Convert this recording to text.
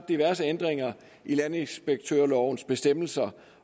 diverse ændringer i landinspektørlovens bestemmelser